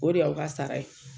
O de y' aw ka sara ye.